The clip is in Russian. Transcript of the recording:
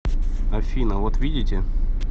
афина вот видите